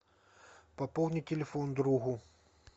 пополни телефон другу